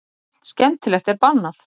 Allt skemmtilegt er bannað.